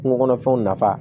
Kungo kɔnɔfɛnw nafa